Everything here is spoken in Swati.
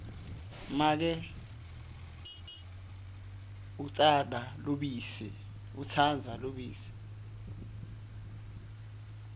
make utsandza lubisi